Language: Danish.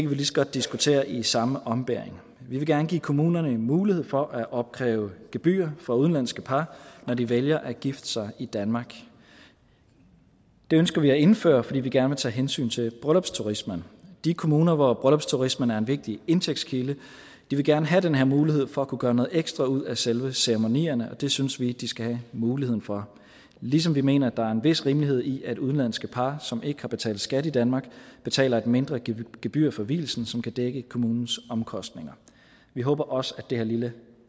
vi lige så godt diskutere i samme ombæring vi vil gerne give kommunerne en mulighed for at opkræve gebyr fra udenlandske par når de vælger at gifte sig i danmark det ønsker vi at indføre fordi vi gerne vil tage hensyn til bryllupsturismen de kommuner hvor bryllupturismen er en vigtig indtægtskilde vil gerne have den her mulighed for at kunne gøre noget ekstra ud af selve ceremonierne og det synes vi de skal have muligheden for ligesom vi mener at der er en vis rimelighed i at udenlandske par som ikke har betalt skat i danmark betaler et mindre gebyr gebyr for vielsen som kan dække kommunens omkostninger vi håber også at det her lille